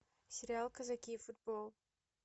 сериал казаки и футбол